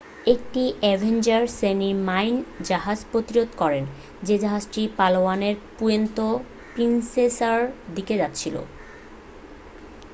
একটি অ্যাভেঞ্জার শ্রেণির মাইন জাহাজ প্রতিরোধ করে যে জাহাজটি পালাওয়ানের পুয়ের্তো প্রিন্সেসার দিকে যাচ্ছিল